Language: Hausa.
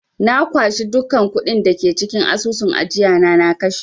Na kwashe dukkan kuɗin da ke cikin asusun ajiyana na kashe.